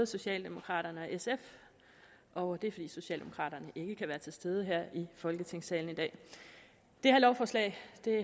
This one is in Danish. socialdemokraterne og sf og det er fordi socialdemokraterne ikke kan være til stede her i folketingssalen i dag det her lovforslag